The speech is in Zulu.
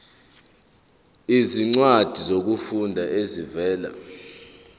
izincwadi zokufunda ezivela